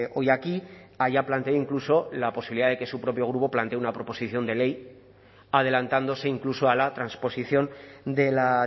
hoy aquí haya planteado incluso la posibilidad de que su propio grupo plantee una proposición de ley adelantándose incluso a la transposición de la